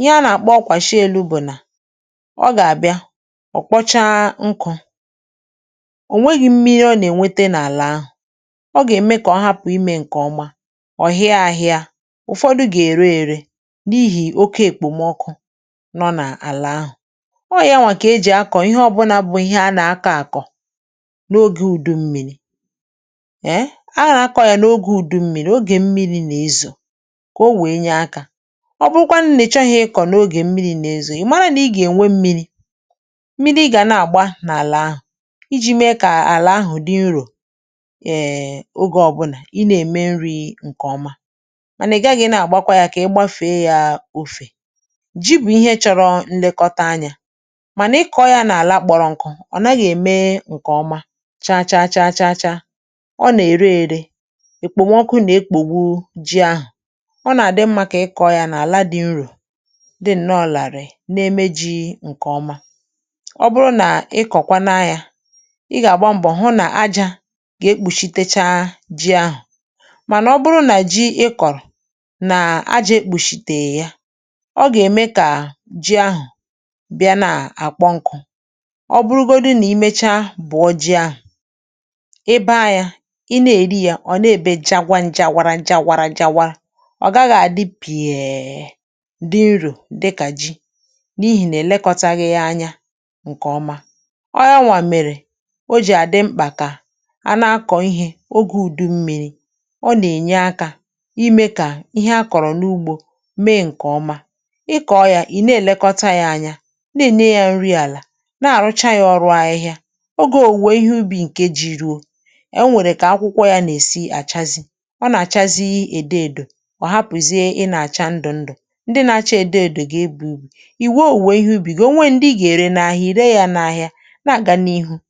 ihe a nà-àkpọ ọkwàshị elu̇ bụ̀ nà ọ̀ gá abịa, ọ kpọọ chá nkụ onwèghi̇ mmiri ọ nà-ènwete n’àlà ahụ̀ ọ gà-ème kà ọhapụ̀ imė ǹkè ọma ọ̀ hia á hịa, ụ̀fọdụ gà-ère ère n’ihì oke èkpòmọkụ nọ n’àlà ahụ̀. Ọ ya nwà kà ejì akọ̀ ihe ọbụnȧ bụ ihe anà aka àkọ̀ n’ogė ùdu mmi̇ri̇ um a nà-akọ̇ yà n’ogė ùdu mmi̇ri̇ ogè mmiri̇ nà-ezò kà o wèe nye akȧ ọ bụkwanụ nà ịchọghị ị kọ̀ n’ogè mmiri̇ nà-ezò ị mara nà i gà-ènwe mmi̇ri̇, mmiri ị gá nà ágbá n'ala áhụ ji̇ mee kà àlà ahụ̀ dị nrò um ogė ọbụnà ị nà-ème nri̇ ǹkè ọma mànà ị gaghị̇ ị nà-àgbakwa yȧ kà ịgbȧfèe yȧ ȯfè. Ji bụ̀ ihe chọ̇rọ̇ nlekọta anyȧ mànà ị kọ̇ọ yȧ nà-àla kpọ̀rọ̀ nkụ̀ ọ̀ naghị ème ǹkè ọma chachaa chachaa cha ọ nà-ère ere ekpòmọkụ nà-ekpògbu ji ahụ̀, ọ nà-àdị mmȧ kà ị kọ̇ ya nà-àla dị nrò dị nnọọ ràrị̀ na-eme ji̇ ǹkè ọma. Ọ bụrụ ná ị kọ kwà nà yá ị gà-àgba mbọ̀ hụ nà ajȧ ga-ekpùshitecha ji ahụ̀ mànà, ọ bụrụ nà ji ị kọ̀rọ̀ nà ajȧ ekpùshìtè ya ọ gà-ème kà ji ahụ̀ bịa nà-àkpọ nkụ ọ bụrụgodị nà imechaa bụ̀ọ ji ahụ̀, ịba yá, i na-èri yȧ ọ̀ na-èbe jagwa nja warara nja warara nja wa ọ gaghị̇ à dị pièè dị nrò dịkà ji n'ihi nà elekọ̀taghị yá ányá nkè ọma. Ọ yá wa méré o jì àdị mkpà kà a na-akọ̀ ihė ogė ùdu mmi̇ri̇ ọ nà-ènye akȧ imė kà ìhè a kọ̀rọ̀ n’ugbȯ mee ǹkè ọma. Ịkọ̀ yȧ ị̀ na-èlekọta yȧ anya, na ene ya nri àlà, na-àrụcha yȧ ọrụ ahịhịa, ogė òwùwè ìhè ubì ǹke ji rùo e nwèrè kà akwụkwọ yȧ nà-èsi àchazị ọ nà-àchazị èdo èdò ọ̀ hapụ̀zie ị nȧ-àcha ndụ̀ ndụ̀ ndị na-achȧ èdo èdò gị ebù ubì ìwe òwùwè ihé ubì gị̀ o nweè ndị ị gà-ère n’ahịa ị ré yá n'ahịa nà aga n'ihu.